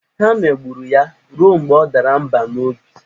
Ha megburu ya ruo mgbe ọ dara mba n'obi.